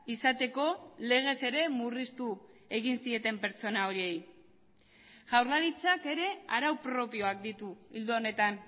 izateko legez ere murriztu egin zieten pertsona horiei jaurlaritzak ere arau propioak ditu ildo honetan